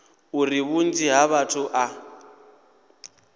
uri vhunzhi ha vhathu a